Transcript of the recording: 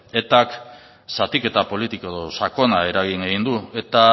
etak zatiketa politiko sakona eragin egin du eta